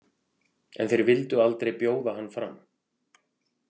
En þeir vildu aldrei bjóða hann fram.